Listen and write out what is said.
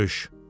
Görüş.